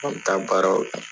An bɛ taa baaraw